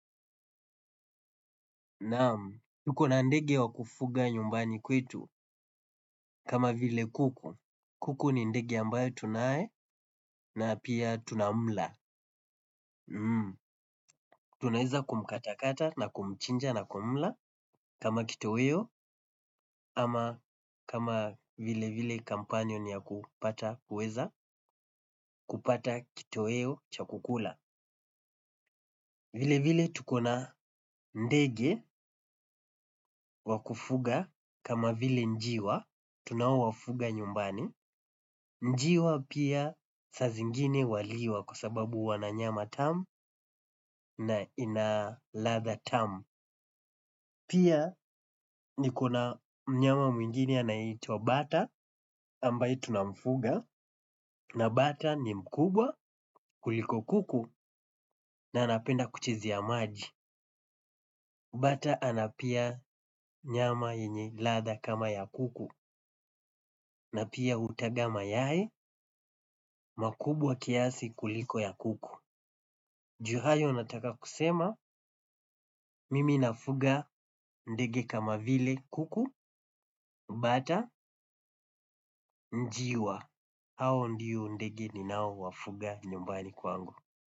Naam, tuko na ndege wa kufuga nyumbani kwetu. Kama vile kuku. Kuku ni ndege ambaye tunaye na pia tunamla. Tunaeza kumkatakata na kumchinja na kumla kama kitoweo, ama kama vile vile companion ya kupata kuweza, kupata kitoweo cha kukula. Vile vile tuko na ndege wa kufuga kama vile njiwa, tunaowafuga nyumbani. Njiwa pia saa zingine waliwa kwa sababu wana nyama tamu na ina ladha tamu. Pia niko na mnyama mwingine anaitwa bata ambaye tunamfuga na bata ni mkubwa kuliko kuku na anapenda kuchezea maji. Bata ana pia nyama yenye ladha kama ya kuku na pia utaga mayai makubwa kiasi kuliko ya kuku. Juu hayo nataka kusema mimi nafuga ndege kama vile kuku, bata njiwa. Hao ndio ndege ninao wafuga nyumbani kwangu.